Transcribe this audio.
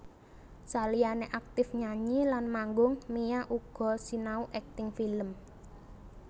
Saliyané aktif nyanyi lan manggung Mia uga sinau akting film